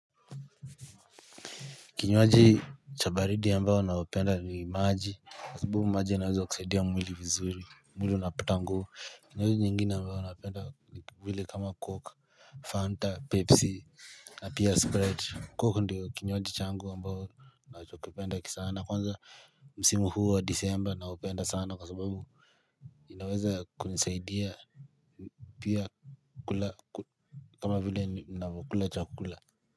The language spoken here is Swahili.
Kinywaji cha baridi ambayo naopenda ni maji Kwa sababu maji yanaweza kusaidia mwili vizuri mwili unapata nguvu Kinywaji nyingine ambayo naopenda nivile kama coke Fanta pepsi na pia sprite Coke ndiyo kinywaji changu ambayo nachokipenda kisana kwanza msimu huu wa disemba naupenda sana kwa sababu inaweza kunisaidia pia kula kama vile ninavyo kula chakula.